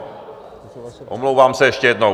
Omlouvám se ještě jednou.